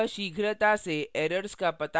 यह शीघ्रता से errors का it लगाने में भी मदद करता है